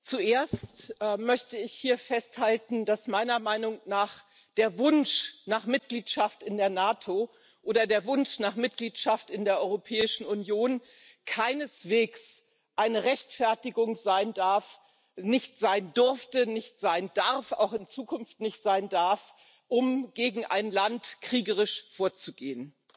Zuerst möchte ich hier festhalten, dass meiner Meinung nach der Wunsch nach Mitgliedschaft in der NATO oder der Wunsch nach Mitgliedschaft in der Europäischen Union keineswegs eine Rechtfertigung sein darf nicht sein durfte, nicht sein darf, auch in Zukunft nicht sein darf um gegen ein Land kriegerisch vorzugehen.